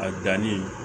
A danni